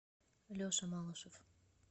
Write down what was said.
леша малышев